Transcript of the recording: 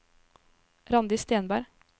Randi Stenberg